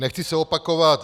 Nechci se opakovat.